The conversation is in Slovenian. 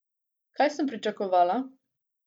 Kaj sem pričakovala?